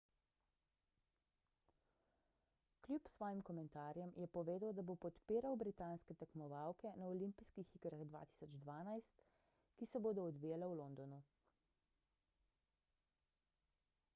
kljub svojim komentarjem je povedal da bo podpiral britanske tekmovalke na olimpijskih igrah 2012 ki se bodo odvijale v londonu